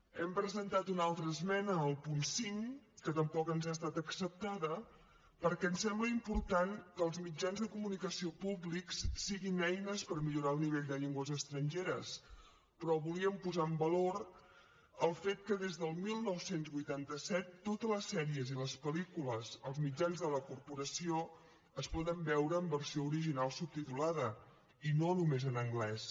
hem presentat una altra esmena al punt cinc que tampoc ens ha estat acceptada perquè ens sembla important que els mitjans de comunicació públics siguin eines per millorar el nivell de llengües estrangeres però volíem posar en valor el fet que des del dinou vuitanta set totes les sèries i les pel·lícules als mitjans de la corporació es poden veure en versió original subtitulada i no només en anglès